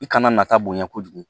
I kana nata bonɲɛ kojugu